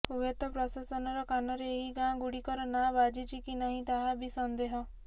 ହୁଏତ ପ୍ରଶାସନର କାନରେ ଏହି ଗାଁ ଗୁଡ଼ିକର ନାଁ ବାଜିଛି କି ନାହିଁ ତାହା ବି ସନ୍ଦେହ